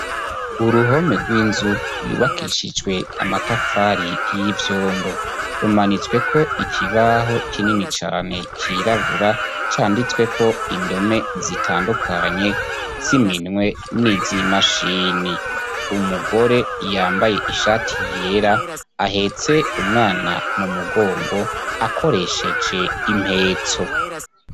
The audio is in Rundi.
Uruhome rw'inzu yubakishijwe amatafari y'ivyondo rumanitsweko ikibaho kinini cane cirabura canditsweko indome zitandukanye ziminwe n'izimashini umugore yambaye ishati yera ahetse umwana mu mugongo akoresheje impetso.